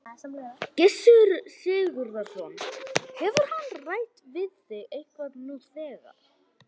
Gissur Sigurðsson: Hefur hann rætt við þig eitthvað nú þegar?